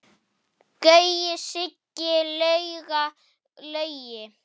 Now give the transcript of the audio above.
Gaui, Siggi, Lauga, Laugi.